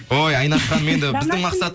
ой айнаш ханым енді біздің мақсат